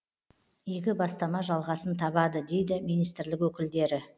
игі бастама жалғасын табады дейді министрлік өкілдері